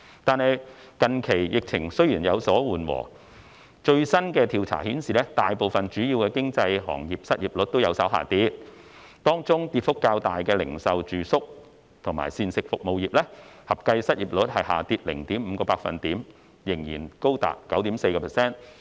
但是，近期疫情雖然有所緩和，最新的調查顯示大部分主要行業的失業率均有所下跌，當中跌幅較大的零售、住宿及膳食服務業，合計失業率雖下跌 0.5%， 但仍然高達 9.4%。